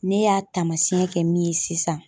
Ne y'a taamasiyɛn kɛ min ye sisan